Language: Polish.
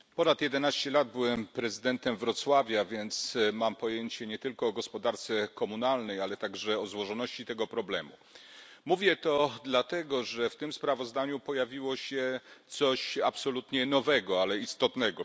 Pani Przewodnicząca! Przez ponad jedenaście lat byłem prezydentem Wrocławia, więc mam pojęcie nie tylko o gospodarce komunalnej, ale także o złożoności tego problemu. Mówię to dlatego, że w tym sprawozdaniu pojawiło się coś absolutnie nowego, ale istotnego.